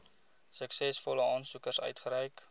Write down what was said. suksesvolle aansoekers uitgereik